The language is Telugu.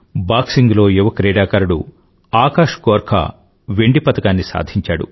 బాక్సింగ్ లో యువ క్రీడాకారుడు ఆకాష్ గోర్ఖా వెండి పతకాన్ని సాధించాడు